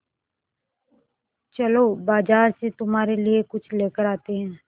चलो बाज़ार से तुम्हारे लिए कुछ लेकर आते हैं